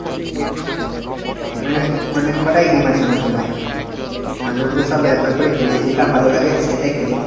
মানে অনেক কটাই game আছে আমার mobile এ। মাঝেমধ্যে সব একবার করে খেলি. যেটা ভালো লাগে সেটাই খেলি গে।